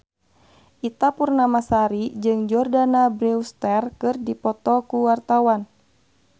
Ita Purnamasari jeung Jordana Brewster keur dipoto ku wartawan